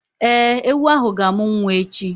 Ee, ewu ahụ ga-amụ nwa echi